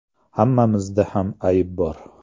Hammamizda ham ayb bor.